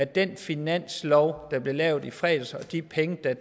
den finanslov der blev lavet i fredags at de penge der